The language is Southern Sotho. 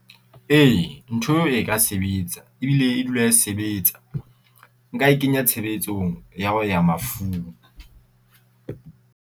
Ee ntho eo, e ka sebetsa ebile e dula e sebetsa. Nka e kenya tshebetsong ya ho ya mafung.